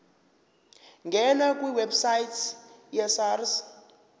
ngena kwiwebsite yesars